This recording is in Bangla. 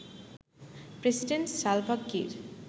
president Salva Kiir